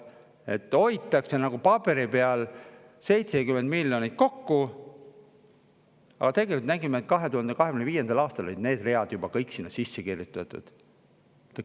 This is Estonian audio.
Paberi peal hoitakse justkui 70 miljonit kokku, aga tegelikult nägime, et 2025. aastaks olid kõik need read juba sinna sisse kirjutatud.